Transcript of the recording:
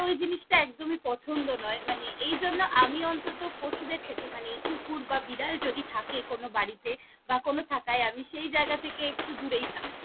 ওই জিনিসটা একদমই পছন্দ নয়! মানে এই জন্য আমি অন্তত পশুদের থেকে মানে এই কুকুর বা বিড়াল যদি থাকে কোনও বাড়িতে বা কোনও আমি সেই জায়গা থেকে একটু দুরেই থাকি।